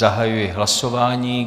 Zahajuji hlasování.